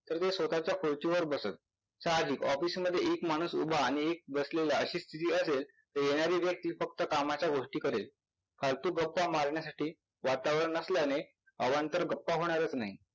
तर ते स्वतःच्या खुर्चीवर बसत. साहजिक office मध्ये एक माणूस उभा आणि एक बसलेला अशी स्थिती असेल तर येणारी व्यक्ती फक्त कामाच्या गोष्टी करेल. फालतू गप्पा मारण्यासाठी वातावरण नसल्याने अवांतर गप्पा होणारच नाहीत.